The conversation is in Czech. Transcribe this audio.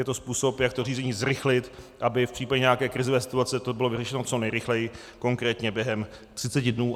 Je to způsob, jak to řízení zrychlit, aby v případě nějaké krizové situace to bylo vyřešeno co nejrychleji, konkrétně během třiceti dnů.